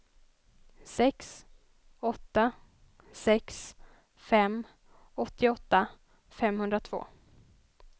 sex åtta sex fem åttioåtta femhundratvå